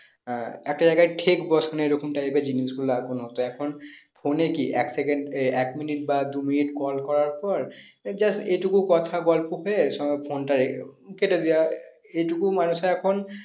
আহ একটা জায়গায় ঠেক বসানো এরকম type এর জিনিস গুলো হতো এখন phone এ কি এক second এ এক minute বা দু minute call করার পর এই just এটুকু কথা গল্প হয়ে এক সময় phone টা কেটে দেওয়া। এটুকু মানুষে এখন